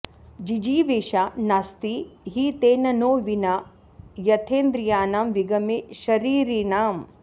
जिजीविषा नास्ति हि तेन नो विना यथेन्द्रियाणां विगमे शरीरिणाम्